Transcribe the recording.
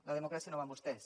la democràcia no va amb vostès